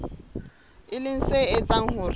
e leng se etsang hore